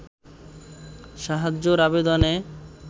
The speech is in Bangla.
সাহায্যের আবেদনে